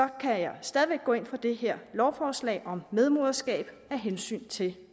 kan jeg stadig væk gå ind for det her lovforslag om medmoderskab af hensyn til